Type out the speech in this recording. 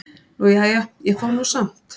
"""Nú, jæja, ég fór nú samt."""